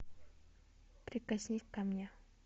прикоснись ко мне